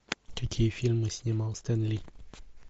какие фильмы снимал стэн ли